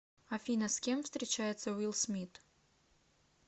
афина с кем встречается уилл смит